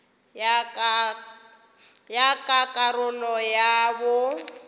ya ka karolo ya bo